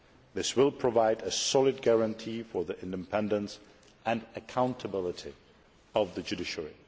This will provide a solid guarantee for the independence and accountability of the judiciary.